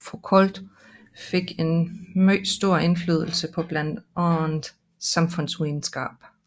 Foucault fik en meget stor indflydelse på blandt andet samfundsvidenskab